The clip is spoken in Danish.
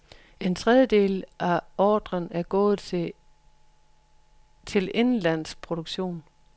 En tredjedel af ordren et gået til indenlandsk produktion.